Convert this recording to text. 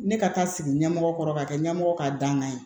Ne ka taa sigi ɲɛmɔgɔ kɔrɔ ka kɛ ɲɛmɔgɔ ka dankan ye